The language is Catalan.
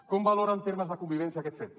com valora en termes de convivència aquest fet